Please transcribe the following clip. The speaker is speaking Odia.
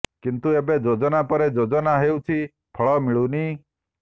କିନ୍ତୁ ଏବେ ଯୋଜନା ପରେ ଯୋଜନା ହେଉଛି ଫଳ ମିଳୁନି